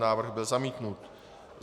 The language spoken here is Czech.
Návrh byl zamítnut.